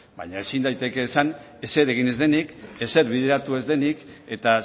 baina ezin daiteke esan ezer egin ez denik ezer bideratu ez denik eta